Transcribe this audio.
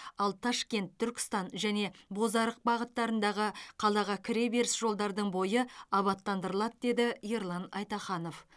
ал ташкент түркістан және бозарық бағыттарындағы қалаға кіре беріс жолдардың бойы абаттандырылады деді ерлан айтаханов